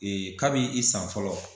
Ee ka b' i san fɔlɔ.